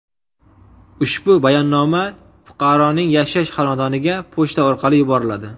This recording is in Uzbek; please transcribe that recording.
Ushbu bayonnoma fuqaroning yashash xonadoniga pochta orqali yuboriladi.